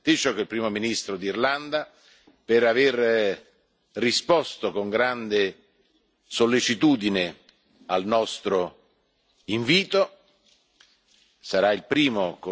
Voglio ringraziare il Taoiseach, il Primo ministro d'Irlanda, per aver risposto con grande sollecitudine al nostro invito.